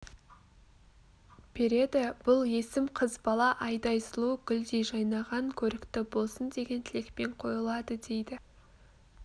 береді бұл есім қыз бала айдай сұлу гүлдей жайнаған көрікті болсын деген тілекпен қойылады дейді